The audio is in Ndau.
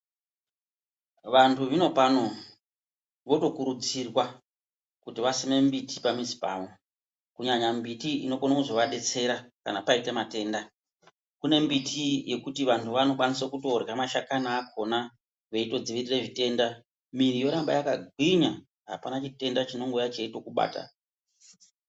Vantu zvinopano, votokurudzirwa kuti vasime mimbiti pamizi pavo kunyanya mbiti inoone kuzovadetsera kana paite matenda. Kune mbiti yekuti vantu vanokwanisa kutorya mashakani akhona, veitodzivirire zvitenda. Miri yoramba yakagwinya. Apana chitenda chinombouya cheitokubata.